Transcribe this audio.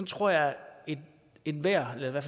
tror jeg at enhver eller